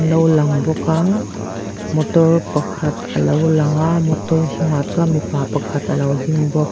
lo lang bawk a motor pakhat alo langa motor hnungah chuan mipa pakhat alo ding bawk.